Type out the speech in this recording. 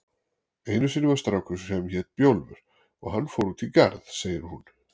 Einu sinni var strákur sem hét Bjólfur og hann fór út í garð, segir hún.